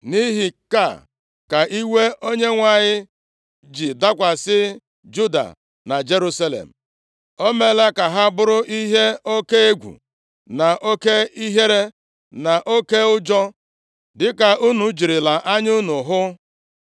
Nʼihi nke a ka iwe Onyenwe anyị ji dakwasị Juda na Jerusalem. O meela ka ha buru ihe oke egwu, na oke ihere na oke ụjọ, dịka unu jirila anya unu hụ.